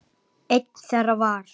Einn þeirra var